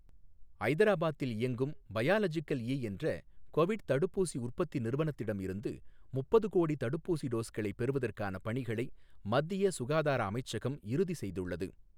ஐதராபாத்தில் இயங்கும் biological E என்ற கொவிட் தடுப்பூசி உற்பத்தி நிறுவனத்திடமிருந்து முப்பது கோடி தடுப்பூசி டோஸ்களை பெறுவதற்கான பணிகளை மத்திய சுகாதார அமைச்சகம் இறுதி செய்துள்ளது.